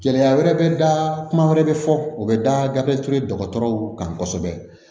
Gɛlɛya wɛrɛ bɛ da kuma wɛrɛ bɛ fɔ o bɛ da gabe ture dɔgɔtɔrɔw kan kosɛbɛ